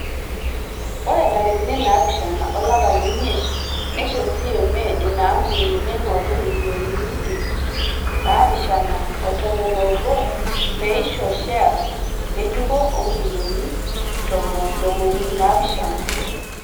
Ore ntarikini naapishana olapa le imiet neisho CMA ina ampuni meingorru milioni ip naapishana o tomon o obo peisho sheyas ngejuko o milioni ntomoni naapishana.